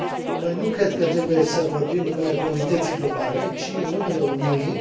Noi nu cred că trebuie să vorbim în numele comunității globale, ci în numele Uniunii.